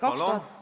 Palun!